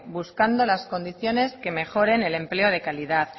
buscando las condiciones que mejoren el empleo de calidad